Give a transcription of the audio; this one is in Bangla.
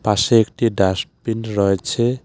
পাশে একটি ডাস্টবিন রয়েছে.